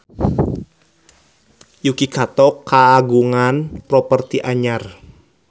Yuki Kato kagungan properti anyar